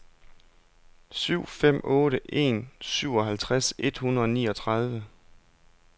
syv fem otte en syvoghalvtreds et hundrede og niogtredive